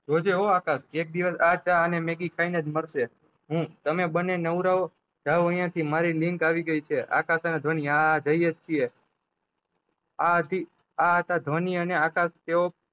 જોજે હો આકાશ એક દિવસ આ ચા ને મેગી ખઇ ને જ મરશે હું તમે બન્ને નવરાઓ જાવ અયીયા થી મારી લીંક આવી ગયી છે આકાશ અને ધ્વની આ જયીએજ છીએ આ હતી આ હતા ધ્વની અને આકાશ તેવો